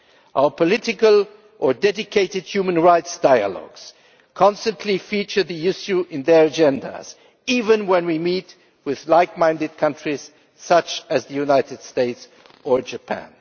Our political or dedicated human rights dialogues constantly feature the issue on their agendas, even when we meet with like minded countries such as the United States or Japan.